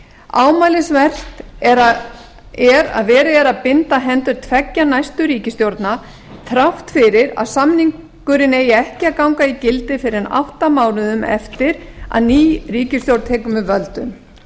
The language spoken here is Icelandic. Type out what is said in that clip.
ámælisvert er að verið er að binda hendur tveggja næstu ríkisstjórna þrátt fyrir að samningurinn eigi ekki að ganga í gildi fyrr en átta mánuðum eftir að ný ríkisstjórn tekur við völdum